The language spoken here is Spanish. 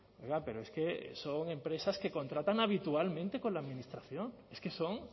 oiga pero es que son empresas que contratan habitualmente con la administración es que son